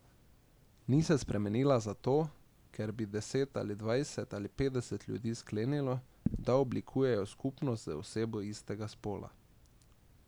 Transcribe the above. Ni se spremenila zato, ker bi deset ali dvajset ali petdeset ljudi sklenilo, da oblikujejo skupnost z osebo istega spola.